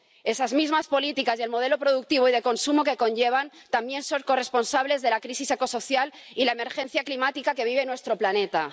Esas mismas políticas y el modelo productivo y de consumo que conllevan también son corresponsables de la crisis ecosocial y de la emergencia climática que vive nuestro planeta.